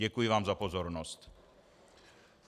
Děkuji vám za pozornost.